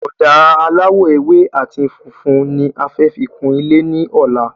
Ọ̀dà aláwò ewé àti funfun ni a fẹ fi kun ilé ní ọ̀lá